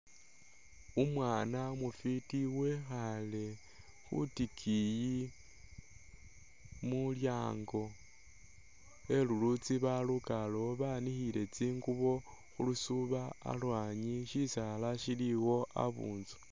Umwana umufiti wekhale khutikiyi mulyango khe lulutsi balukalewo banikhile tsingubo khulusubo alwanyi shisala shiliwo abuntsu